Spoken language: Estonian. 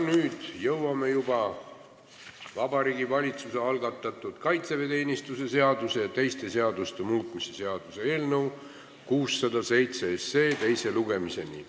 Nüüd jõuame juba Vabariigi Valitsuse algatatud kaitseväeteenistuse seaduse ja teiste seaduste muutmise seaduse eelnõu 607 teise lugemiseni.